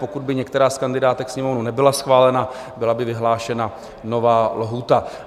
Pokud by některá z kandidátek Sněmovny nebyla schválena, byla by vyhlášena nová lhůta.